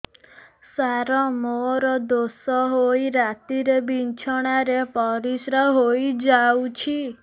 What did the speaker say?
ସାର ମୋର ଦୋଷ ହୋଇ ରାତିରେ ବିଛଣାରେ ପରିସ୍ରା ହୋଇ ଯାଉଛି